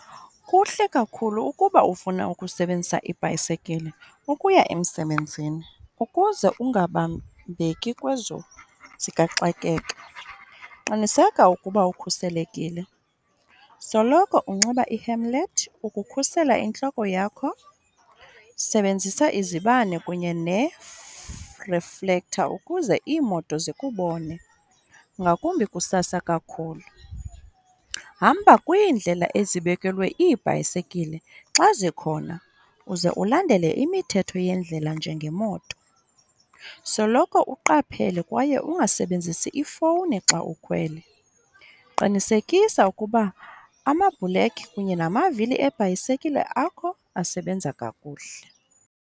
Kuhle kakhulu ukuba ufuna ukusebenzisa ibhayisekile ukuya emsebenzini ukuze ungabambeki kwezo zikaxakeka. Qiniseka ukuba ukhuselekile, soloko unxiba i-hemlet ukukhusela intloko yakho, sebenzisa izibane kunye reflector ukuze iimoto zikubone ngakumbi kusasa kakhulu. Hamba kwiindlela ezibekelwe iibhayisekile xa zikhona uze ulandele imithetho yendlela njengemoto. Soloko uqaphele kwaye ungasebenzisi ifowuni xa ukhwele. Qinisekisa ukuba amabhulekhi kunye namavili ebhayisekile akho asebenza kakuhle.